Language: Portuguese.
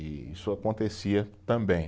E isso acontecia também.